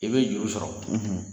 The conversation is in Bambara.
I bɛ y juru sɔrɔ, .